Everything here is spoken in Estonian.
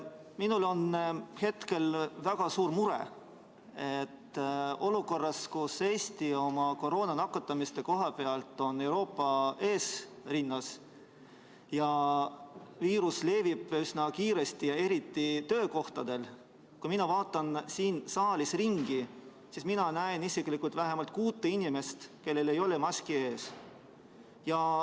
Minul on hetkel väga suur mure: olukorras, kus Eesti on koroonasse nakatumisel Euroopas eesrinnas ja viirus levib üsna kiiresti, eriti töökohtadel, näen ma siin saalis ringi vaadates vähemalt kuute inimest, kellel ei ole maski ees.